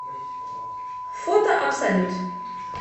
фото абсолют